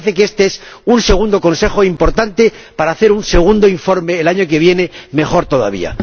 Me parece que este es un segundo consejo importante para hacer un segundo informe, el año que viene, mejor todavía.